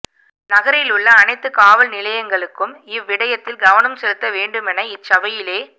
நகரில் உள்ள அனைத்து காவல் நிலையங்களுக்கும் இவ்விடயத்தில் கவனம் செலுத்த வேண்டுமென இச்சபையிலே